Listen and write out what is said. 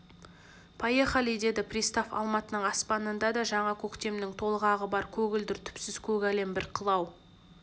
поехали деді пристав алматының аспанында да жаңа көктемнің толғағы бар көгілдір түпсіз көк әлем бір қылау